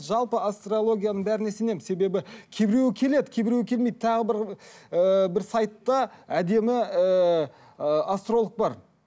жалпы астрологияның бәріне сенемін себебі кейбіреуі келеді кейбіреуі келмейді тағы бір ыыы бір сайтта әдемі ыыы астролог бар